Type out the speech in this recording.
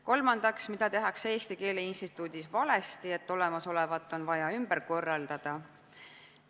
Kolmandaks, mida tehakse Eesti Keele Instituudis valesti, et olemasolevat on vaja ümber korraldada?